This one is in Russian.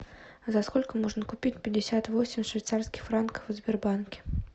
за сколько можно купить пятьдесят восемь швейцарских франков в сбербанке